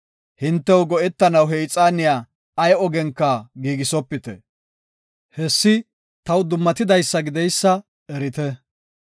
Hintew go7etanaw he ixaaniya ay ogenka giigisopite. Hessi taw dummatidaysa gideysa erite.